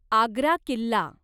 Agra Killa